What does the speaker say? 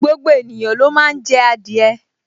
Gbogbo ènìyàn ló máa n jẹ adìẹ